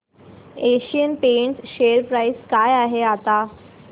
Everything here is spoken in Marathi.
एशियन पेंट्स शेअर प्राइस काय आहे आता